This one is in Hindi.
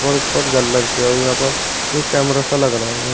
ऊपर हुई हैं यहां पर एक कैमरा सा लग रहा ।